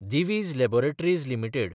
Divij laboratories limited